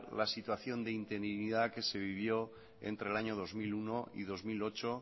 la situación de interinidad que se vivió entre el año dos mil uno y dos mil ocho